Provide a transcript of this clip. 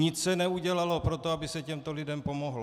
Nic se neudělalo pro to, aby se těmto lidem pomohlo.